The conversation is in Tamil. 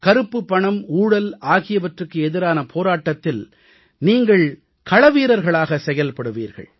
கருப்புப் பணம் ஊழல் ஆகியவற்றுக்கு எதிரான போராட்டத்தில் நீங்கள் களவீரர்களாக செயல்படுவீர்கள்